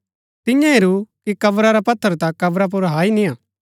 तियें हेरू कि कब्रा रा पत्थर ता कब्रा पुर हाई नियां